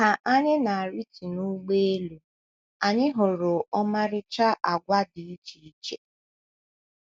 Ka anyị na - arịtu n’ụgbọelu, anyị hụrụ ọmarịcha àgwà dị iche iche.